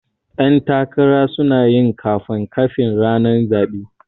Ƴan takara sunayin kanfan kafin ranar zaɓe